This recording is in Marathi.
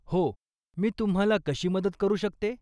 हो, मी तुम्हाला कशी मदत करू शकते?